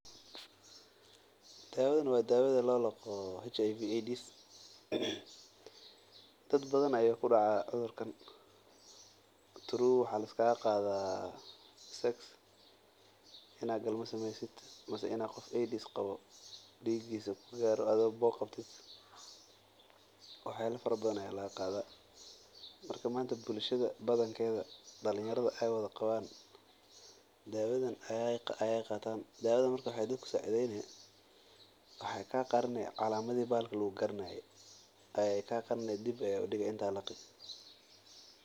Dawadan waa dawda loo laqo aids cudurkan dad badan ayuu kudacaa waxaa laga qada inaad galmo subiso marka dadka dawadan ayeey qaatan dawadan waxaay qarini calamadaha dib ayeey udigi.